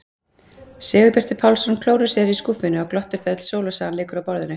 Sigurbjartur Pálsson klórar sér í skúffunni og glottir þegar öll sólarsagan liggur á borðinu.